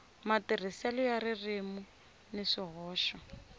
matirhiselo ya ririmi ni swihoxo